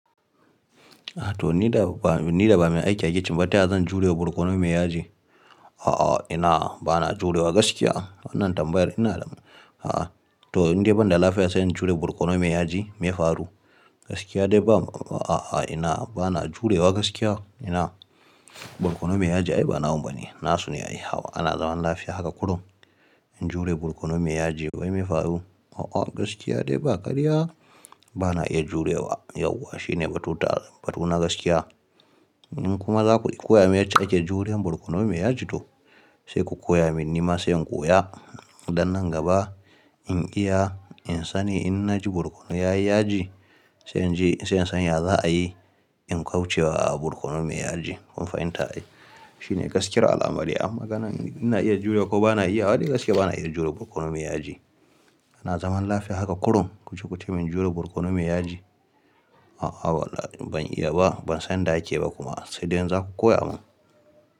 A to ni da ba, ni da ba mai aike a kicin ba ta ya zan jurewa barkono mai yaji. A'a ina ba na jurewa gaskiya wannan tambayar ina da a'a. To indai banda lafiya sai in jure barkono mai yaji mai faru, gaskiya dai ba a'a ina ba na jurewa gaskiya ina, barkono mai yaji ai ba nawan bane. Na sune yayi hawa ana zaman lafiya haka kurum in jure barkono mai yaji wai mai faru a'a gaskiya dai ba karya, ba na iya jurewa yauwa Shi ne batuta batuna gaskiya. In kuma za ku koya min yacce ake juriyan barkono mai yaji to, sai ku koya min nima sai in koya. Dan nan gaba, in iya in sani in na ji barkono yayi yaji, sai in ji sai in san ya za'a yi in kaucewa barkono mai yaji Kun fahimta? Shi ne gaskiyar al'amari A maganan ina iya jurewa ko ba na iya wa dai gaskiya ba na iya jure barkono mai yaji. Ana zaman lafiya haka kurrum, ku ji kuce in jure barkono mai yaji a'a ban iya ba ban san da ake ba kuma sai dai in za ku koya mun.